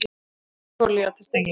Ólífuolía til steikingar.